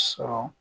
Sɔrɔ